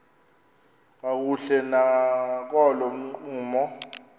kakuhle nakolo ncumo